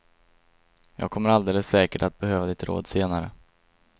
Jag kommer alldeles säkert att behöva ditt råd senare.